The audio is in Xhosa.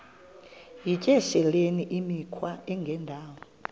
yityesheleni imikhwa engendawo